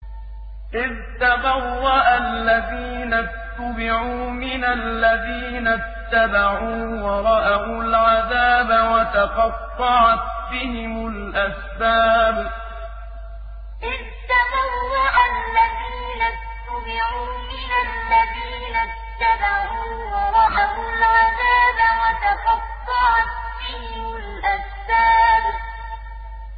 إِذْ تَبَرَّأَ الَّذِينَ اتُّبِعُوا مِنَ الَّذِينَ اتَّبَعُوا وَرَأَوُا الْعَذَابَ وَتَقَطَّعَتْ بِهِمُ الْأَسْبَابُ إِذْ تَبَرَّأَ الَّذِينَ اتُّبِعُوا مِنَ الَّذِينَ اتَّبَعُوا وَرَأَوُا الْعَذَابَ وَتَقَطَّعَتْ بِهِمُ الْأَسْبَابُ